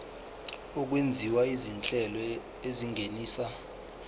okwenziwa izinhlelo ezingenisa